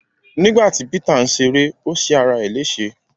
Nígbàtí Peter n ṣeré o ṣe ará é lése.